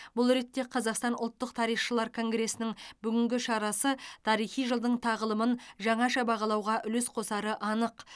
бұл ретте қазақстан ұлттық тарихшылар конгресінің бүгінгі шарасы тарихи жылдың тағылымын жаңаша бағалауға үлес қосары анық